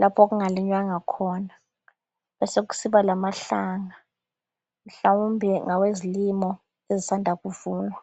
lapho okungalinywanga khona besekusiba lamahlanga. Mhlawumbe ngawezilimo ezisanda kuvunwa.